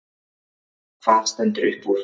Hvað stendur upp úr?